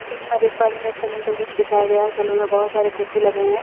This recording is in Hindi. जैसे की मैं देख पा रही हूँ एक सैलून का दृश्य दिखाया गया है सलून में बहुत सारे कुर्सी लगे हुए हैं।